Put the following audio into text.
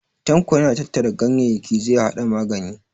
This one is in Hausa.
Tanko yana tattara ganyayyaki zai haɗa magani.